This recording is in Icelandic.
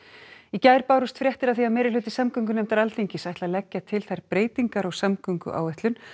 í gær bárust fréttir af því að meirihluti samgöngunefndar Alþingis ætli að leggja til þær breytingar á samgönguáætlun